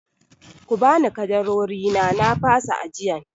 Ku bani ƙadarorina na fasa ajiyan!